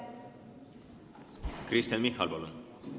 Kristen Michal, palun!